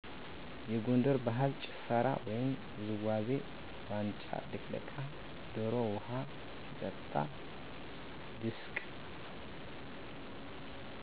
የጎንደር ባህላዊ ጭፈራ ወይም ውዝዋዜ ዋንጫ ልቅለቃ፣ ደሮ ውሃ ሲጠጣ፤ ድስቅ